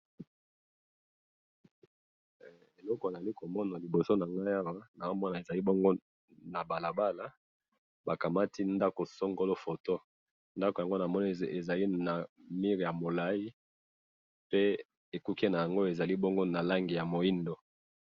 Eloko nazali komona na liboso nangayi awa nazo mona ezali bongo na balabala bakamati ndaku songolo foto ndaku yango namoni ezali na mur ya mulayi pe ekoki nango ezali na langi ya mwindu.